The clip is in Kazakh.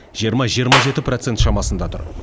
жиырма жиырма жеті процент шамасында тұр